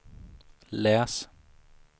läs